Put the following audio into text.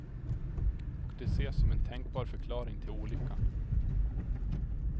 Och det ses som en tänkbar förklaring till olyckan.